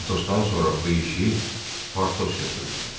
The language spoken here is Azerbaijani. Atosdan sonra bu işi Portos götürdü.